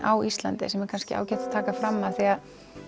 á Íslandi sem er kannski ágætt að taka fram af því